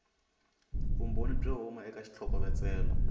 vumbhoni byo huma eka xitlhokovetselo